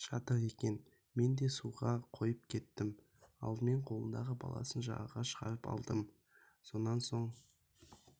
жатыр екен мен де суға қойып кеттім алдымен қолындағы баласын жағаға шығарып алдым сонан соң